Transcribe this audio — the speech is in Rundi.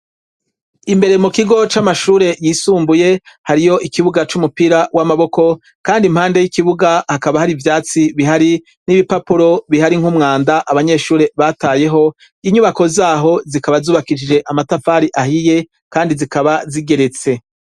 Imbere mu kigo c'amashure yisumbuye, hariyo ikibuga c'umupira w'amaboko. Kandi impande y'ikibuga, hakaba hari ivyatsi bihari n'ibipapuro bihari nk'umwanda, abanyeshuri batayeho. Inyubako z'aho zikaba zubakishijwe amatafari ahiye kandi zikaba zigeretse